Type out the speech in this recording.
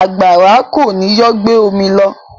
Àgbàrá kọ́ ni yóò gbé omi lọ.